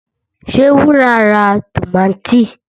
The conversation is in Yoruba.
Ṣé Wúrà ra tòmátì?